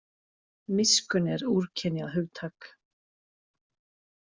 Miskunn er úrkynjað hugtak.